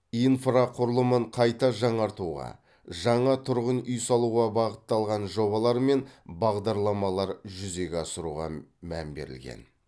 инфрақұрылымын қайта жаңартуға жаңа тұрғын үй салуға бағытталған жобалар мен бағдарламалар жүзеге асыруға мән берілген